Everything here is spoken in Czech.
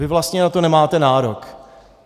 Vy vlastně na to nemáte nárok.